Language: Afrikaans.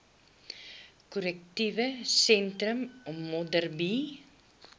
korrektiewe sentrum modderbee